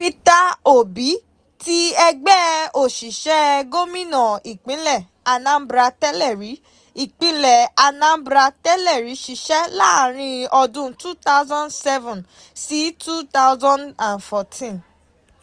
Peter Obi ti ẹgbẹ́ òṣìṣẹ́ Gómìnà ìpínlẹ̀ Anambra tẹ́lẹ̀rí ìpínlẹ̀ Anambra tẹ́lẹ̀rí ṣiṣẹ́ láàárín ọdún two thousand seven sí twenty fourteen.